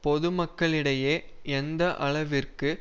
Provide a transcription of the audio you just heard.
பொதுமக்களிடையே எந்த அளவிற்கு